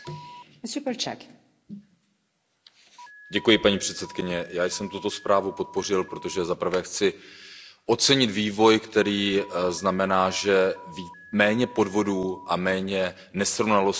Paní předsedající, já jsem tuto zprávu podpořil, protože za prvé chci ocenit vývoj, který znamená, že méně podvodů a méně nesrovnalostí je právě při nakládání s evropskými penězi.